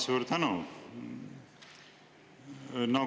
Suur tänu!